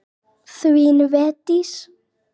Þin Védís.